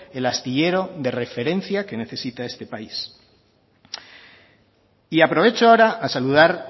el astillero de referencia que necesita este país y aprovecho ahora a saludar